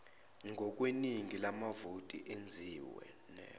ngokweningi lamavoti enziwe